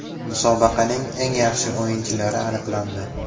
Musobaqaning eng yaxshi o‘yinchilari aniqlandi.